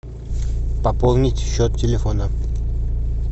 пополнить счет телефона